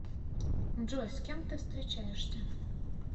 джой с кем ты встречаешься